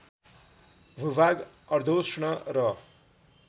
भूभाग अर्द्योष्ण र